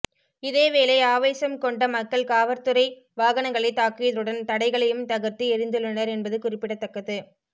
இதே வேளை ஆவேசம் கொண்ட மக்கள் காவற்துறை வாகனங்களை தாக்கியதுடன் தடைகளையும் தகர்த்து எறிந்துள்ளனர் என்பது குறிப்பிடத்தக்கது